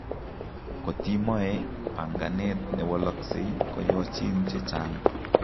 Kotiimoe panganet newaloksei koyochin chechang'